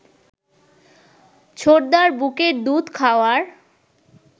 ছোটদার বুকের দুধ খাওয়ার